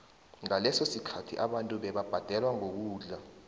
ngaleso sikhathi abantu bebabhadelwa ngokudla